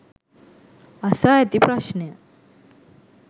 අසා ඇති ප්‍රශ්නය